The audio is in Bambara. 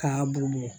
K'a bugubugu